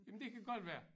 Jamen det kan godt være